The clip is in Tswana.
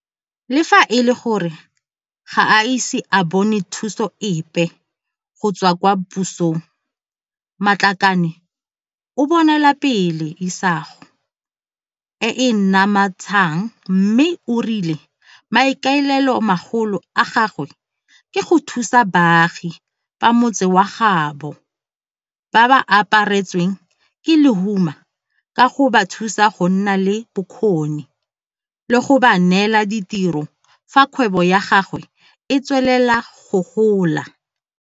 Le fa e le gore ga a ise a bone thuso epe go tswa kwa pusong, Matlakane o bonelapele isago e e namatshang mme o rile maikaelelo magolo a gagwe ke go thusa baagi ba motse wa gaabo ba ba apa retsweng ke lehuma ka go ba thusa go nna le bokgoni le go ba neela ditiro fa kgwebo ya gagwe e tswelela go gola.